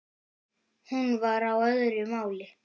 Hún var á öðru máli.